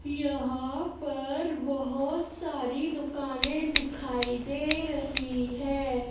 यहां पर बहोत सारी दुकानें दिखाई दे रही है।